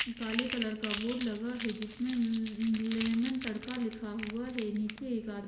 काले कलर का बोर्ड लगा है जिसमें ले लें लेमन तड़का लिखा हुआ है नीचे एक--